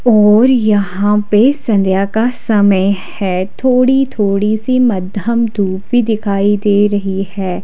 और यहां पर संध्या का समय है। थोड़ी थोड़ी सी मध्यम धूप भी दिखाई दे रही है।